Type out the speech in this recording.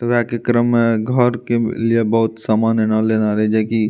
मे घर के के लिए बहुत सामान एना लेना रहे जे की --